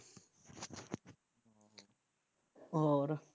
ਹੋਰ